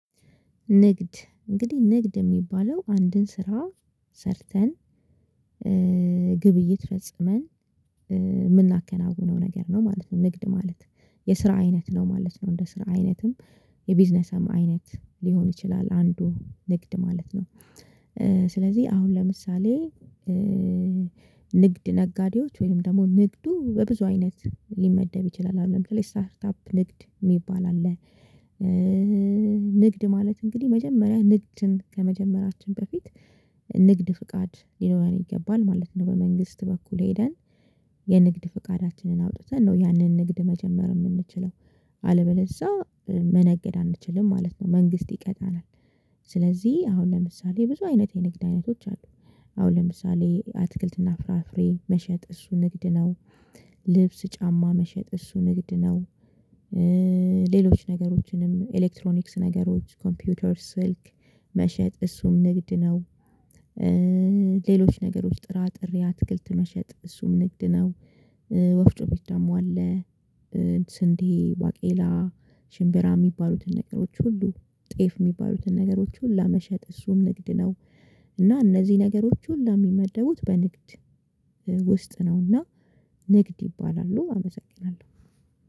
ንግድ እንግዲህ ንግድ የሚባለው አንድን ስራ ሰርተን ግብይት ፈጽመን የምናከናውነው ነገር ነው ማለት ነው። ንግድ ማለት የስራ አይነት ነው ማለት ነው። እንደ ስራ አይነትም የቢዝነስም አይነት ሊሆን ይችላል። አንዱ ንግድ ማለት ነው። ስለዚህ አሁን ለምሳሌ ንግድ ነጋዴዎች ወይም ደግሞ ንግዱ በብዙ አይነት ሊመደብ ይችላል። አሁን ለምን ስታርት አፕ ንግድ የሚባል አለ። ንግድ ማለት እንግዲህ መጀመሪያ ንግድን ከመጀመራችን በፊት ንግድ ፍቃድ ሊኖረን ይገባል ማለት ነው። በመንግስት በኩል ሄደን የንግድ ፍቃዳችንን አውጥተን ነው ያንን ንግድ መጀመር የምንችለው። አለበለዚያ መነገድ አንችልም ማለት ነው። መንግስት ይቀጣናል። ስለዚህ አሁን ለምሳሌ ብዙ አይነት የንግድ አይነቶች አሉ። አሁን ለምሳሌ አትክልትና ፍራፍሬ መሸጥ እሱ ንግድ ነው። ልብስ ጫማ መሸጥ እሱ ንግድ ነው። ሌሎች ነገሮችንም ኤሌክትሮኒክስ ነገሮች ኮምፒውተር ስልክ መሸጥ እሱም ንግድ ነው። ሌሎች ነገር ውስጥ ጥራጥሬ አትክልት መሸጥ እሱም ንግድ ነው። ወፍጮ ቤት ደግሞ አለ። ስንዴ ባቄላ ሽምብራ የሚባሉትን ነገሮች ሁሉ ጤፍ የሚባሉትን ነገሮች ሁሉ መሸጥ እሱም ንግድ ነው። እና እነዚህ ነገሮች ሁሉ የሚመደቡት በንግድ ውስጥ ነውና ንግድ ይባላሉ። አመሰግናለሁ